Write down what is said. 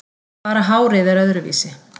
Bara hárið er öðruvísi.